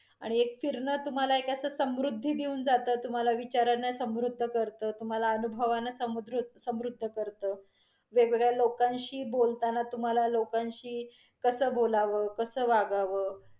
आणि एक फिरन तुम्हाला एक समृध्दी देऊन जातं. तुम्हाला विचारांना समृध्द करतं, तुम्हाला अनुभवान समुद् समृध्द करतं. वेगवेगळ्या लोकांशी बोलताना, तुम्हाला लोकांशी कस बोलावं, कस वागावं?